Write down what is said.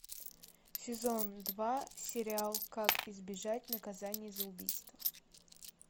сезон два сериал как избежать наказания за убийство